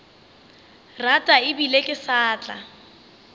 rata ebile ke sa tla